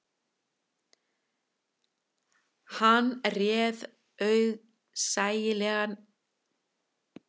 Hann réð auðsæilega einn yfir bílnum sem ók eftir duttlungum hans